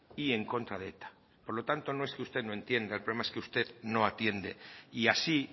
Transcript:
y en contra de eta por lo tanto no es que usted no entienda el problema es que usted no atiende y así